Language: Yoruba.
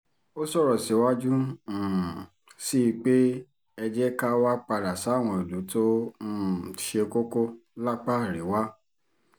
ó sọ̀rọ̀ síwájú um sí i pé ẹ jẹ́ ká wáá padà sáwọn ìlú tó um ṣe kókó lápá àríwá